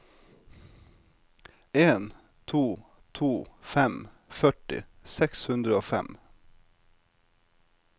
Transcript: en to to fem førti seks hundre og fem